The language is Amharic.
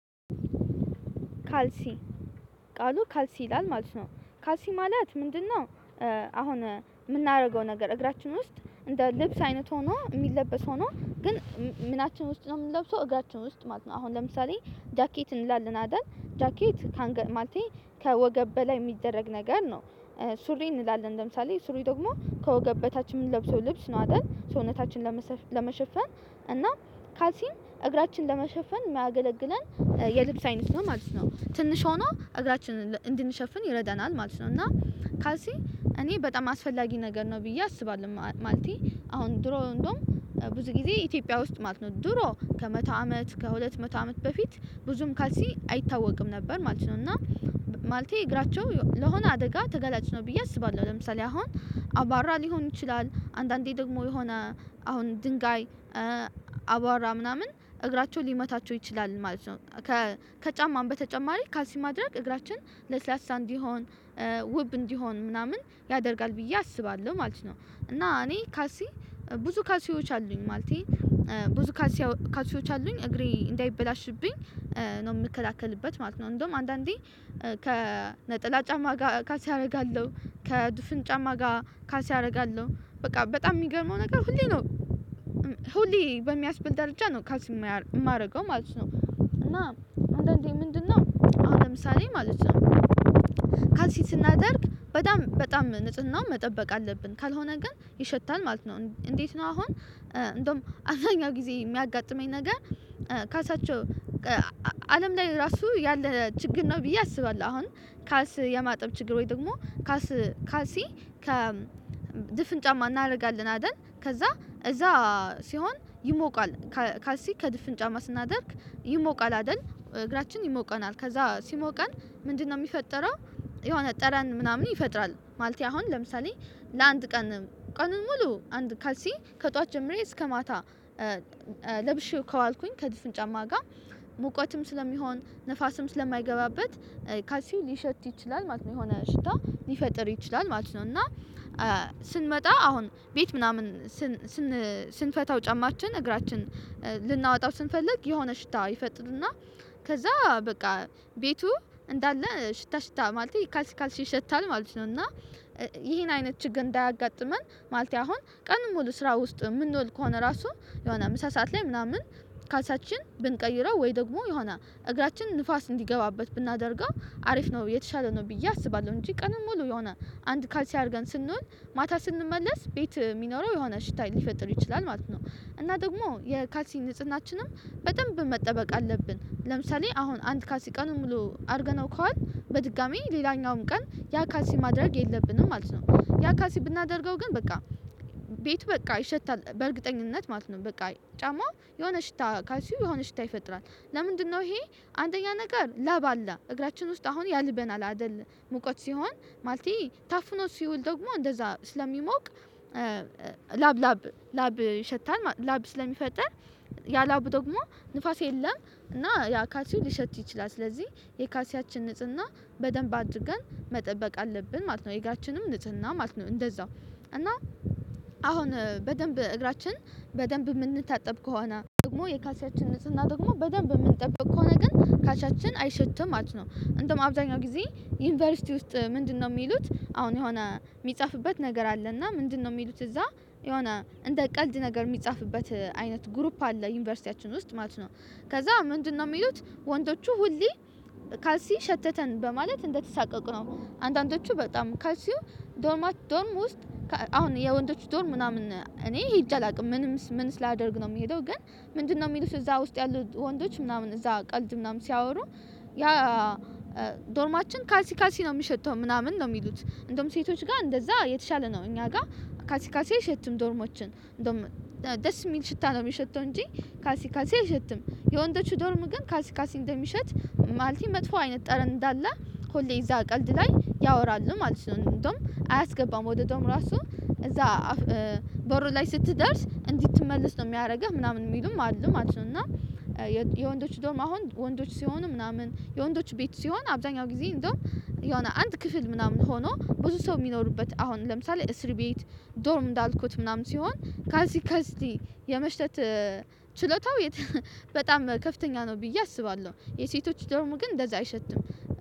ካልሲ ቃሉ ካልሲ ይላል ማለት ነው ካልሲ ማለት ምንድነው? አሁን የምናደርገው ነገር እግራችን ውስጥ እንደ ልብስ አይነት ሆኖ የሚለበስ ሆኖ። ግን ምናችን ውስጥ ነው የምንለብሰው እግራችን ውስጥ ማለት ነው። አሁን ለምሳሌ ጃኬት እንላለን አይደል ጃኬት ከአንገት ማለቴ ከወገብ በላይ የሚደረግ ነገር ነው። ሱሪ እንላለን ለምሳሌ ሱሪ ደግሞ ከወገብ በታች የምንለብሰው ልብስ ነው አይደል ሰውነታችንን። ለመሸፈን እና ካሊሲም እግራችንን ለመሸፈን የሚያገለግለን የልብስ አይነት ነው ማለት ነው። ትንሽ ሆኖ እግራችንን እንድንሸፍን ይረደናል ማለት ነው። እና ካልሲ እኔ በጣም አስፈላጊ ነገር ነው ብዬ አስባለሁ። ማለቴ አሁን ድሮ እንደውም ብዙ ጊዜ ኢትዮጵያ ውስጥ ማለት ነው። ድሮ ከመቶ አመት ከሁለት መቶ አመት በፊት ብዙም ካልሲ አይታወቅም ነበር ማለት ነው። እና ማለቴ እግራቸው ለሆነ አደጋ ተገላጭ ነው ብዬ አስባለሁ። ለምሳሌ አሁን አባራ ሊሆን ይችላል አንዳንዴ ደግሞ የሆነ አሁን ድንጋይ አቧራ ምናምን እግራቸው ሊመታቸው ይችላል ማለት ነው። ከጫማም በተጨማሪ ካልሲ ማድረግ እግራችን ለስላሳ እንዲሆን ውብ እንዲሆን ምናምን ያደርጋል ብዬ አስባለሁ ማለት ነው። እና እኔ ካልሲ ብዙ ካልሲዎች አሉኝ ማለቴ ብዙ ካልሲ ካልሲዎች አሉኝ እግሬ እንዳይበላሽብኝ ነው የምከላከልበት ማለት ነው። እንደውም አንዳንዴ ከነጠላ ጫማ ጋር ካሊስ አደርጋለሁ ከድፍን ጫማ ጋር ካሊስ አደርጋለሁ በቃ በጣም የሚገርመው ነገር ሁሌ ነው። ሁሌ በሚያስበልድ ደረጃ ነው ካሊስ የማደርገው ማለት ነው። እና አንዳንዴ ምንድነው? አሁን ለምሳሌ ማለት ነው ካልሲ ስናደርግ በጣም በጣም ንጽህናውን መጠበቅ አለብን ካልሆነ ግን ይሸታል ማለት ነው። እንዴት ነው አሁን እንደውም አብዛኛው ጊዜ የሚያጋጥመኝ ነገር ካሊስያቸው አለም ላይ ራሱ ያለ ችግር ነው ብዬ አስባለሁ። አሁን ካልስ የማጠብ ችግር ወይ ደግሞ ካሊስ ካልሲ ከ ድፍን ጫማ እናደርጋለን አይደል ከዛ እዛ ሲሆን ይሞቃል። ካልሲ ከድፍን ጫማ ስናደርግ ይሞቃል አይደል? እግራችን ይሞቀናል ከዛ ሲሞቀን ምንድነው የሚፈጠረው? የሆነ ጠረን ምናምን ይፈጥራል ማለቴ አሁን ለምሳሌ ለአንድ ቀን ቀን ሙሉ አንድ ካልሲ ከጠዋት ጀምሬ እስከ ማታ ለብሼው ከዋልኩኝ ከድፍን ጫማ ጋር ሙቀትም ስለሚሆን ንፋስም ስለማይገባበት ካልሲ ሊሸት ይችላል ማለት ነው የሆነ ሽታ ሊፈጥር ይችላል ማለት ነው። እና ስንመጣ አሁን ቤት ምናምን ስን ስንፈታው ጫማችን እግራችን ልናወጣው ስንፈልግ የሆነ ሽታ ይፈጥርና ከዛ በቃ ቤቱ እንዳለ ሽታ ሽታ ማለት ካልስ ካልስ ይሸታል ማለት ነው። እና ይሄን አይነት ችግር እንዳያጋጥመን ማለት አሁን ቀኑኑ ሙሉ ስራ ውስጥ የምንወል ከሆነ ራሱ የሆነ ምሳ ሰዓት ላይ ምናምን ካልሳችን ብንቀይረው ወይ ደግሞ የሆነ እግራችን ንፋስ እንዲገባበት ብናደርገው አሪፍ ነው። የተሻለ ነው ብዬ አስባለሁ እንጂ ቀንም ሙሉ የሆነ አንድ ካልሲ አድርገን ስንል ማታ ስንመለስ ቤት የሚኖረው የሆነ ሽታ ሊፈጥር ይችላል ማለት ነው። እና ደግሞ የካልሲ ንጽህናችንም በጣም መጠበቅ አለብን ለምሳሌ አሁን አንድ ካልሲ ቀኑን ሙሉ አድርገነው ከዋል በድጋሚ ሌላኛውም ቀን ያ ካሊሲ ማድረግ የለብንም ማለት ነው። ያሊሲ ብናደርገው ግን በቃ ቤቱ በቃ ይሸታል በእርግጠኝነት ማለት ነው በቃ ጫማው የሆነ ሽታ ካሊሲው የሆነ ሽታ ይፈጥራል። ለምንድነው? ይሄ አንደኛ ነገር ለብ አለ እግራችን ውስጥ አሁን ያልበናል አይደል ሙቀት ሲሆን ማለት ታፍኖ ሲውል ደግሞ እንደዛ ስለሚሞቅ ላብ ላብ ላብ ይሸታል ላብ ስለሚፈጠር ያ ላብ ደግሞ ንፋስ የለም እና ያ ካሊሲው ሊሸት ይችላል ስለዚህ የካሊሲያችን ንጽህና በደንብ አድርገን መጠበቅ አለብን ማለት ነው። የእግራችንም ንጽህና ማለት ነው። እንደዛው እና አሁን በደንብ እግራችን በደንብ የምንታጠብ ከሆነ ደግሞ የካሊሲያችን ንጽህና ደግሞ በደንብ የምንጠብቀው ከሆነ ግን ካሊሲያችን አይሸትም ማለት ነው። እንደውም አብዛኛው ጊዜ ዩኒቨርሲቲ ውስጥ ምንድነው? የሚሉት አሁን የሆነ የሚጻፍበት ነገር አለና ምንድነው የሚሉት እዛ የሆነ እንደ ቀልድ ነገር የሚጻፍበት አይነት ግሩፕ አለ ዩኒቨርሲቲያችን ውስጥ ማለት ነው። ከዛ ምንድነው? የሚሉት ወንዶቹ ሁሌ ካሊሲ ሸተተን በማለት እንደተሳቀቁ ነው። አንዳንዶቹ በጣም ካልሲው ዶርማ ዶርም ውስጥ አሁን የወንዶች ዶርም ምናምን እኔ ሂጄ አላውቅም ምንም ምንስ ላደርግ ነው የምሄደው ግን ምንድነው የሚሉት እዛ ውስጥ ያሉ ያሉት ወንዶች ምናምን እዛ ቀልድ ምናምን ሲያወሩ ያ ዶርማችን ካልሲ ካልሲ ነው የሚሸተው ምናምን ነው የሚሉት። እንደውም ሴቶች ጋር እንደዛ የተሻለ ነው እኛ ጋር ካልሲ ካልሲ አይሸትም ዶርሞችን እንደውም ደስ የሚል ሽታ ነው የሚሸተው እንጂ ካልሲ ካልሲ አይሸትም። የወንዶቹ ዶርም ግን ካልሲ ካልሲ እንደሚሸት ማለት መጥፎ አይነት ጠረን እንዳለ ሁሌ እዛ ቀልድ ላይ ያወራሉ ማለት ነው። እንደውም አያስገባም ወደ ዶርን ራሱ እዛ በር ላይ ስትደርስ እንድትመልስ ነው የሚያደርገው ምናምን የሚሉም አሉ ማለት ነው። እና የወንዶች ዶርም አሁን ወንዶች ሲሆኑ ምናምን የወንዶች ቤት ሲሆን አብዛኛው ጊዜ እንደውም የሆነ አንድ ክፍል ምናምን ሆኖ ብዙ ሰው የሚኖሩበት አሁን ለምሳሌ እስር ቤት ዶርም እንዳልኩት ምናምን ሲሆን ካልሲ ካልሲ የመሽተት ችሎታው በጣም ከፍተኛ ነው። ብዬ አስባለሁ የሴቶች ደርሙ ግን እንደዛ አይሸትም።